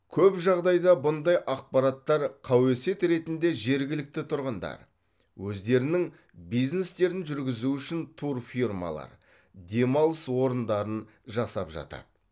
көп жағдайда бұндай ақпараттар қауесет ретінде жергілікті тұрғындар өздерінің бизнестерін жүргізу үшін турфирмалар демалыс орындарын жасап жатады